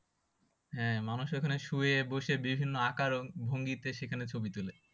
হ্যাঁ মানুষ ওই খানে শুয়ে বসে বিভিন্ন আকার ও ভঙ্গিতে সেখানে ছবি তোলে